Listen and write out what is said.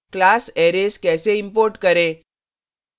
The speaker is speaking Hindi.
class arrays कैसे import करें